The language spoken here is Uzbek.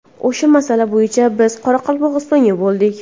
O‘sha masala bo‘yicha biz Qoraqalpog‘istonda bo‘ldik.